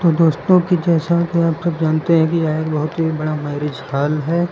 दोस्तों कि जैसा कि आप सब जानते हैं कि यह एक बहोत ही बड़ा मैरिज हॉल है।